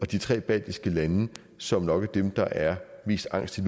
de tre baltiske lande som nok er dem der er mest angste